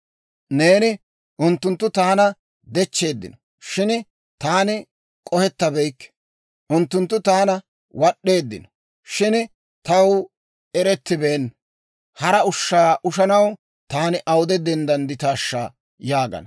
Neeni, «Unttunttu taana dechcheeddino; shin taani k'ohettabeykke. Unttunttu taana wad'd'eeddino; shin taw erettibeenna. Hara ushshaa ushanaw taani awude denddandditaashsha?» yaagana.